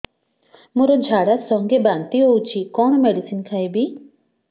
ମୋର ଝାଡା ସଂଗେ ବାନ୍ତି ହଉଚି କଣ ମେଡିସିନ ଖାଇବି